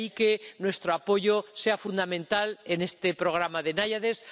De ahí que nuestro apoyo sea fundamental en este programa Naiades.